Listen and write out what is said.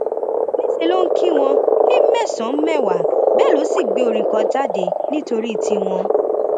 níṣẹ ló ń kí wọn ní mẹsànán mẹwàá bẹẹ ló sì gbé orin kan jáde nítorí tiwọn